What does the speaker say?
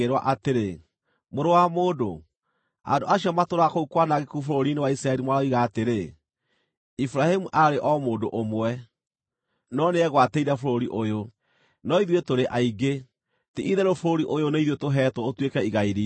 “Mũrũ wa mũndũ, andũ acio matũũraga kũu kwanangĩku bũrũri-inĩ wa Isiraeli maroiga atĩrĩ, ‘Iburahĩmu aarĩ o mũndũ ũmwe, no nĩegwatĩire bũrũri ũyũ. No ithuĩ tũrĩ aingĩ; ti-itherũ bũrũri ũyũ nĩ ithuĩ tũheetwo ũtuĩke igai riitũ.’